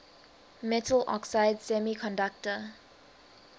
metal oxide semiconductor